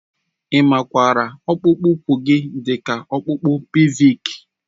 A makwaara ọkpụkpụ úkwù dị ka ọkpụkpụ pèlvịk